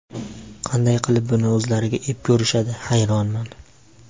Qanday qilib buni o‘zlariga ep ko‘rishadi, hayronman.